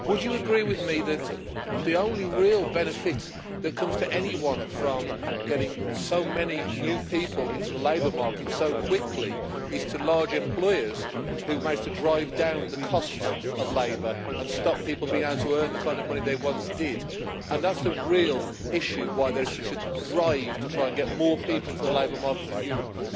Would you agree with me that the only real benefit that comes to anyone from getting so many new people into the labour market so quickly goes to large employers, who manage to drive down the cost of labour and stop people being able to earn the kind of money they once did, and that is the real reason why there is such a drive to try and get more people into the labour market in Europe?